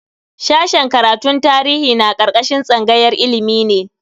Sashen karatun tarihi na karkashin tsangayar ilimi ne.